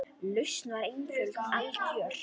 Lausnin var einföld og algjör.